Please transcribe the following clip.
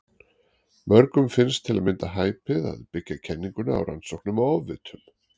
Mörgum finnst til að mynda hæpið að byggja kenninguna á rannsóknum á ofvitum.